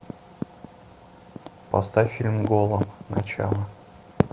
поставь фильм голем начало